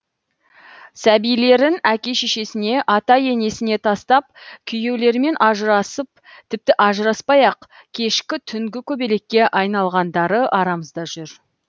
сәбилерін әке шешесіне ата енесіне тастап күйеулерімен ажырасып тіпті ажыраспай ақ кешкі түнгі көбелекке айналғандары арамызда жүр